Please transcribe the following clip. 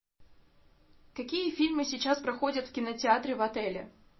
какие фильмы сейчас проходят в кинотеатре в отеле